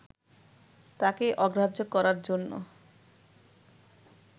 তাঁকে অগ্রাহ্য করার জন্য